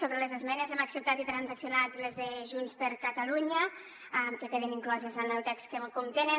sobre les esmenes hem acceptat i transaccionat les de junts per catalunya que queden incloses en el text que les contenen